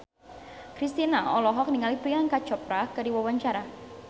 Kristina olohok ningali Priyanka Chopra keur diwawancara